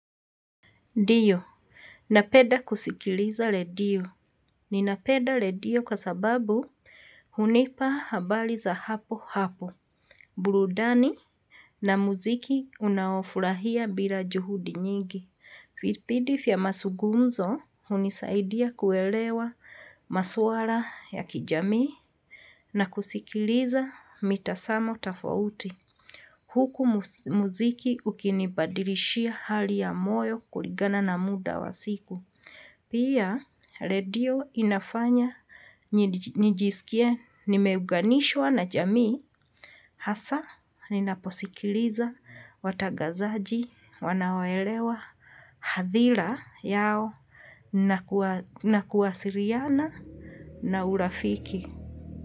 Ndio, napenda kusikiliza redio. Ninapenda redio kwa sababu hunipa habari za papo hapo burudani na muziki unaofurahia bila juhudi nyingi. Vipindi vya mazungumzo hunisaidia kuelewa maswara ya kijamii na kusikiliza mitasamo tafauti. Huku muziki ukinibadilishia hali ya moyo kuligana na muda wa siku. Pia redio inafanya nijiskie nimeunganishwa na jamii hasa ninaposikiliza watangazaji wanaoelewa hadhira yao na na kuwasiliana na urafiki.